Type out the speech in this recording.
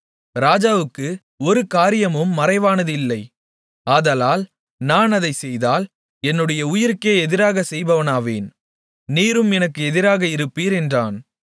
ராஜாவுக்கு ஒரு காரியமும் மறைவானது இல்லை ஆதலால் நான் அதைச்செய்தால் என்னுடைய உயிருக்கே எதிராக செய்பவனாவேன் நீரும் எனக்கு எதிராக இருப்பீர் என்றான்